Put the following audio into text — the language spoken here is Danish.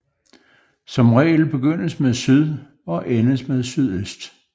Som regel begyndes med syd og endes med sydøst